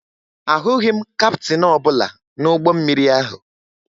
Ahụghị m kaptịn ọbụla n'ụgbọ mmiri ahụ